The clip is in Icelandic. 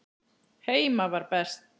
Heima var best.